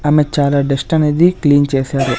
ఆమె చాలా డస్ట్ అనేది క్లీన్ చేశారు.